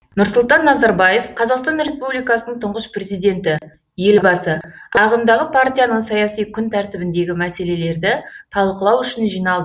нұрсұлтан назарбаев қазақстан республикасының тұңғыш президенті елбасы ағымдағы партияның саяси күн тәртібіндегі мәселелерді талқылау үшін жиналды